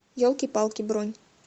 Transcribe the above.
елки палки бронь